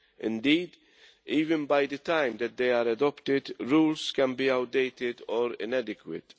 Indeed, even by the time they are adopted rules can be outdated or inadequate.